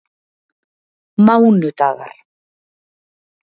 mánudagar